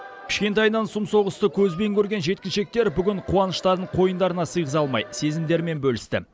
кішкентайынан сұм соғысты көзбен көрген жеткіншектер бүгін қуаныштарын қойындарына сыйғыза алмай сезімдерімен бөлісті